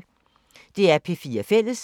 DR P4 Fælles